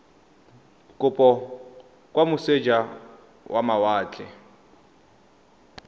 kopo kwa moseja wa mawatle